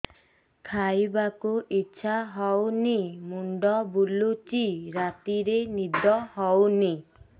ଖାଇବାକୁ ଇଛା ହଉନି ମୁଣ୍ଡ ବୁଲୁଚି ରାତିରେ ନିଦ ହଉନି